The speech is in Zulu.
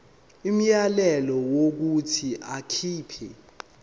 umyalelo wokuthi akhipha